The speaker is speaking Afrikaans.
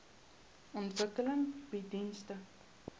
ontwikkeling bied dienste